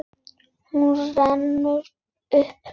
Hún rennur upp.